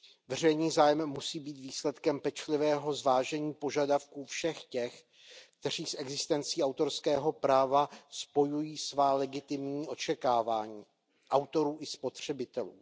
Veřejný zájem musí být výsledkem pečlivého zvážení požadavků všech těch, kteří s existencí autorského práva spojují svá legitimní očekávání, autorů i spotřebitelů.